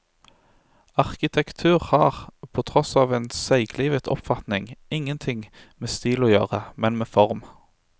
Arkitektur har, på tross av en seiglivet oppfatning, ingenting med stil å gjøre, men med form.